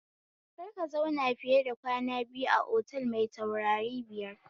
Kar ka zauna fiye kwana biyu a otal mai taurari biyar